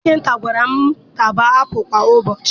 Dọkịta gwara m na mụ taba apụ kwa ụbọchị